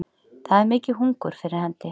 Það er mikið hungur fyrir hendi